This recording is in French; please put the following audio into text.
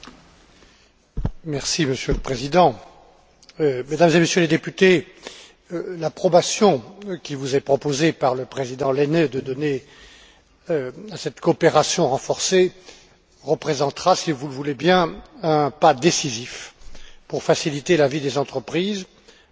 Monsieur le Président, Mesdames et Messieurs les députés, l'approbation qui vous est proposée par le président Lehne de donner à cette coopération renforcée représentera, si vous le voulez bien, un pas décisif pour faciliter la vie des entreprises et des inventeurs européens